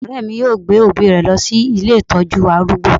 Ọ̀rẹ́ mi yóò gbé òbí rẹ̀ lọ sí ilé ìtọ́jú arúgbó